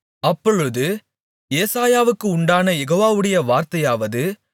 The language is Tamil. அப்பொழுது ஏசாயாவுக்கு உண்டான யெகோவாவுடைய வார்த்தையாவது